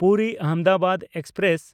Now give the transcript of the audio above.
ᱯᱩᱨᱤ–ᱟᱦᱚᱢᱫᱟᱵᱟᱫ express